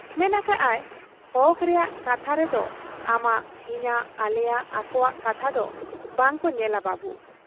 ᱢᱮᱱ ᱟᱠᱟᱜ ᱟᱭᱼᱼ 'ᱦᱚᱠ ᱨᱮᱭᱟᱜ ᱠᱟᱛᱷᱟ ᱨᱮᱫᱚ ᱟᱢᱟᱜ, ᱤᱧᱟᱹᱜ, ᱟᱞᱮᱭᱟᱜ, ᱟᱠᱚᱣᱟᱜ ᱠᱟᱛᱷᱟ ᱫᱚ ᱵᱟᱝᱠᱚ ᱧᱮᱞᱟ ᱵᱟᱹᱵᱩ ᱾